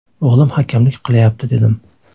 O‘g‘lim hakamlik qilayapti dedim.